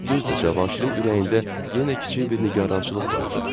Düzdür, Cavanşirin ürəyində yenə kiçik bir nigarançılıq vardı.